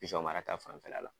mara ta fanfɛla la